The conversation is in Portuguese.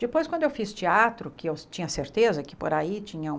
Depois, quando eu fiz teatro, que eu tinha certeza que por aí tinha um...